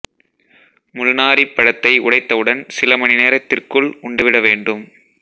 முள்நாறிப் பழத்தை உடைத்தவுடன் சில மணி நேரத்திற்குள் உண்டுவிட வேண்டும்